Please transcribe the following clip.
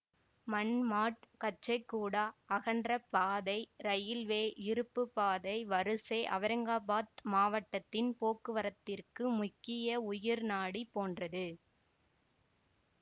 மன்மாட்கச்சேகூடா அகன்றப் பாதை இரயில்வே இருப்பு பாதை வரிசை அவுரங்காபாத் மாவட்டத்தின் போக்குவரத்திற்கு முக்கிய உயிர் நாடி போன்றது